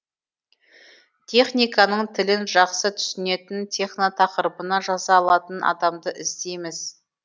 техниканың тілін жақсы түсінетін техно тақырыбына жаза алатын адамды іздейміз